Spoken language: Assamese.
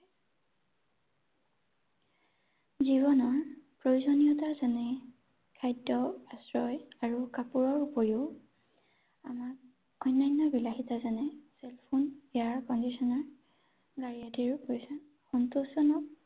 জীৱনৰ, প্ৰয়োজনীয়তা যেনে, খাদ্য, আশ্ৰয় আৰু কাপোৰৰ উপৰিও আমাক অনান্য বিলাসিতা যেনে cell phone, air conditioner গাড়ী আদিৰো প্ৰয়োজন